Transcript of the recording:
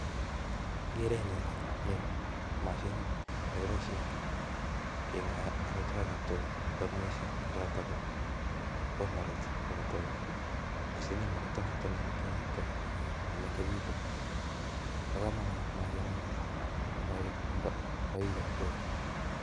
En kerenyun nii ko mashinit neekiboishien amitwogiik nen missing kochoton bhomarodhes chebo tugaa. Mashini no kongoe komekengitun